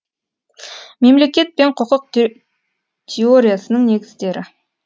мемлекет пен құқық теориясының негіздері